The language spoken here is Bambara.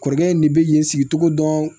Kɔrɔkɛ in de bɛ yen sigi cogo dɔn